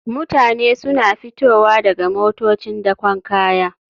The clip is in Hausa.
Mutane suna fitowa daga motocin dakon kaya